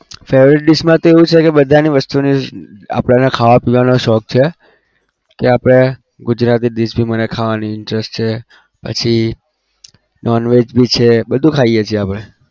favourite dish માં તો એવું છે કે બધાની વસ્તુની આપણને ખાવા પીવાનો શોખ છે. તો આપણે ગુજરાતી dish જો મને ખાવાની interest છે પછી non-veg બી છે બધું ખાઈએ છીએ આપણે